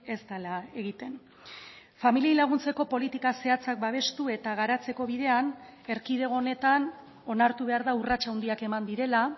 ez dela egiten familiei laguntzeko politika zehatzak babestu eta garatzeko bidean erkidego honetan onartu behar da urrats handiak eman direla